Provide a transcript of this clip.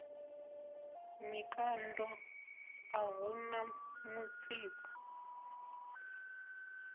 mikando a hu na mutsiko